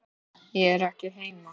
Ég er ekki heima